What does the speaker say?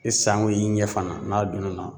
E sanko i ɲɛ fana n'a donn'a na